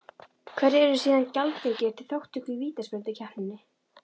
Hverjir eru síðan gjaldgengir til þátttöku í vítaspyrnukeppninni?